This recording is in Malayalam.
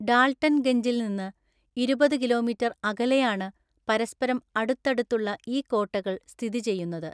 ഡാൾട്ടൻഗഞ്ചിൽ നിന്ന് ഇരുപത് കിലോമീറ്റർ അകലെയാണ് പരസ്പരം അടുത്തടുത്തുള്ള ഈ കോട്ടകൾ സ്ഥിതിചെയ്യുന്നത്.